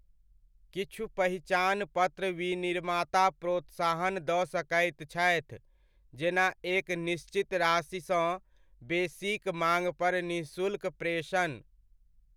किछु पहिचान पत्र विनिर्माता प्रोत्साहन दऽ सकैत छथि, जेना एक निश्चित राशिसँ बेसीक माङपर निःशुल्क प्रेषण।